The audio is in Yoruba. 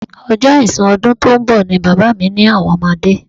Ọjọ́ àìsùn ọdún tó ń bọ̀ ni bàbá mi ní àwọn máa dé